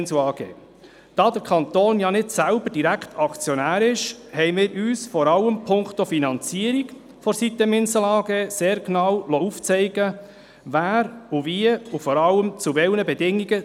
Da der Kanton selbst nicht direkt Aktionär ist, liessen wir uns vor allem punkto Finanzierung der sitem-Insel AG sehr genau aufzeigen, wer wie beteiligt ist, und vor allem zu welchen Bedingungen.